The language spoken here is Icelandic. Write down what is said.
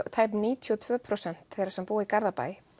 tæp níutíu og tvö prósent þeirra sem búa í Garðabæ